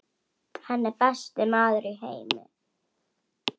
Hann er besti maður í heimi.